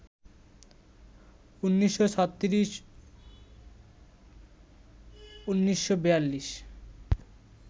১৯৩৬-১৯৪২